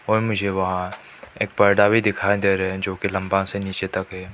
और मुझे बाहर एक पर्दा भी दिखाई दे रहे हैं जो कि लंबा से नीचे तक है।